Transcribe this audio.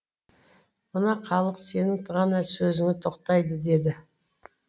мына халық сенің ғана сөзіңе тоқтайды деді